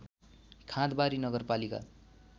खाँदबारी नगरपालिका